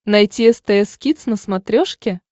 найти стс кидс на смотрешке